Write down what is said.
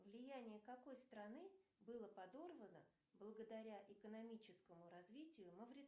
влияние какой страны было подорвано благодаря экономическому развитию